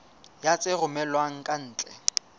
ya tse romellwang ka ntle